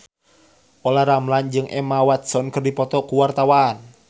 Olla Ramlan jeung Emma Watson keur dipoto ku wartawan